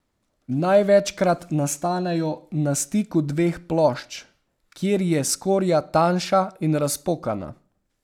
Največkrat nastanejo na stiku dveh plošč, kjer je skorja tanjša in razpokana.